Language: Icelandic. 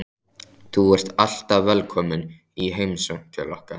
Þú ert alltaf velkomin í heimsókn til okkar.